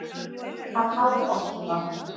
Hann hafði ort það.